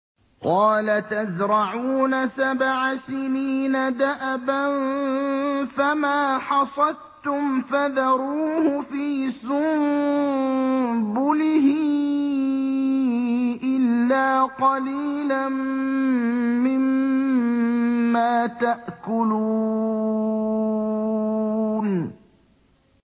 قَالَ تَزْرَعُونَ سَبْعَ سِنِينَ دَأَبًا فَمَا حَصَدتُّمْ فَذَرُوهُ فِي سُنبُلِهِ إِلَّا قَلِيلًا مِّمَّا تَأْكُلُونَ